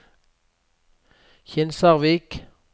Kinsarvik